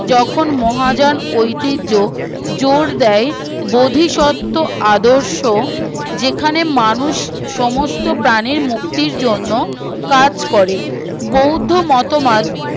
যখন মহাযান ঐতির্য্য জোর দেয় বোধি শর্ত আদর্শ যেখানে মানুষ সমস্ত প্রাণীর মুক্তির জন্য কাজ করে বৌদ্ধ মতবাদ